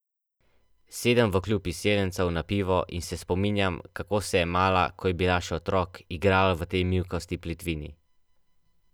Sedem v Klub izseljencev na pivo in se spominjam, kako se je Mala, ko je bila še otrok, igrala v tej mivkasti plitvini.